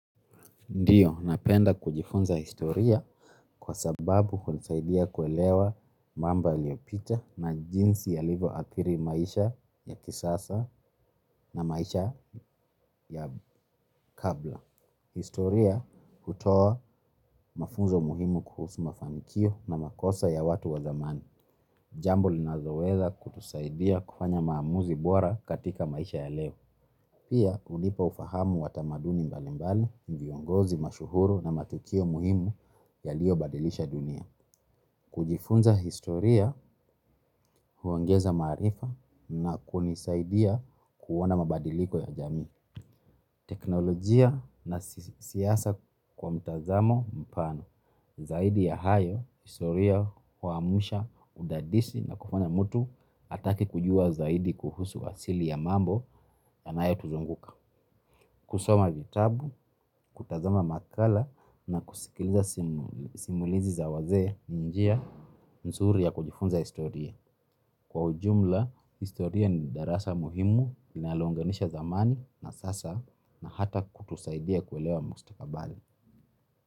Ndiyo, napenda kujifunza historia kwa sababu hunisaidia kuelewa mambo yaliopita na jinsi yalivyoathiri maisha ya kisasa na maisha ya kabla. Historia hutoa mafunzo muhimu kuhusu mafanikio na makosa ya watu wa zamani. Jambo linaloweza kutusaidia kufanya maamuzi bora katika maisha ya leo. Pia hunipa ufahamu wa tamaduni mbalimbali viongozi mashuhuru na matukio muhimu yaliyobadilisha dunia. Kujifunza historia huongeza maarifa na kunisaidia kuoana mabadiliko ya jamii. Teknolojia na siasa kwa mtazamo mpana. Zaidi ya hayo, historia huamsha udadisi na kufanya mtu atake kujua zaidi kuhusu asili ya mambo yanayotuzunguka. Kusoma vitabu, kutazama makala na kusikiliza simulizi za wazee njia nzuri ya kujifunza historia. Kwa ujumla, historia ni darasa muhimu, inalounganisha zamani na sasa na hata kutusaidia kuelewa mustakabali.